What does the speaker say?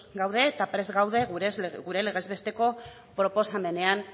gaude eta prest gaude gure legez besteko proposamenean